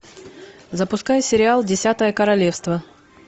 запускай сериал десятое королевство